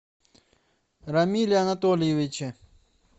рамиле анатольевиче